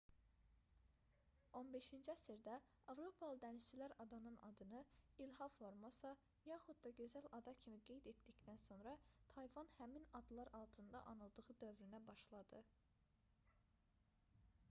15-ci əsrdə avropalı dənizçilər adanın adını i̇lha formosa yaxud da gözəl ada kimi qeyd etdikdən sonra tayvan həmin adlar altında anıldığı dövrünə başladı